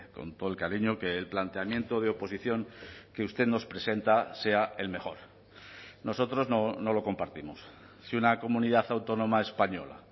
con todo el cariño que el planteamiento de oposición que usted nos presenta sea el mejor nosotros no lo compartimos si una comunidad autónoma española